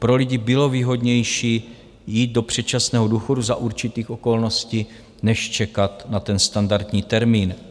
Pro lidi bylo výhodnější jít do předčasného důchodu za určitých okolností než čekat na ten standardní termín.